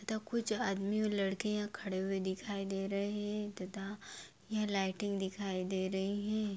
तथा कुछ आदमी और लड़के यहाँ खड़े हुए दिखाई दे रहे हैं तथा ये लाइटिंग दिखाई दे रही हैं।